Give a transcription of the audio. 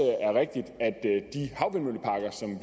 rigtigt at